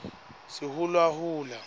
sihulahula